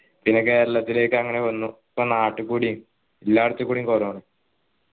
പിന്നെ കേരളത്തിലേക്കു അങ്ങനെ വന്നു ഇപ്പോ നാട്ടികൂടിയും എല്ലാടത്തും കൂടിയും corona